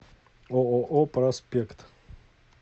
ооо проспект